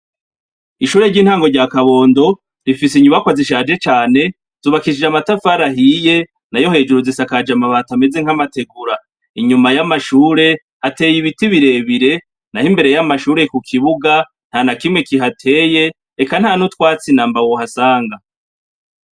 ishure ry'intango rya kabondo rifise inyubakwa zishaje cyane zubakishije amatafari ahiye na yo hejuru zisakaja ma bati ameze nk'amategura inyuma y'amashure hateye ibiti birebire naho imbere y'amashure ku kibuga nta na kimwe kihateye reka nta n'utwatsi namba wohasanga